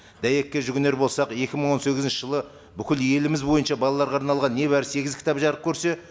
дәйекке жүгінер болсақ екі мың он сегізінші жылы бүкіл еліміз бойынша балаларға арналған не бары сегіз кітап жарық көрсе